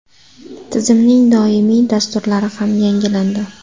Tizimning doimiy dasturlari ham yangilandi.